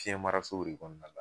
Fiyɛnmarasow de kɔnɔna la